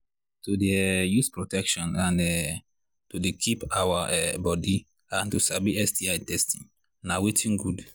to they um use protection and um to they keep our um body and to sabi sti testing na watin good